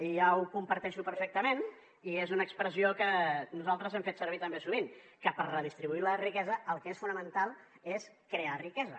i ja ho comparteixo perfectament i és una expressió que nosaltres hem fet servir també sovint que per redistribuir la riquesa el que és fonamental és crear riquesa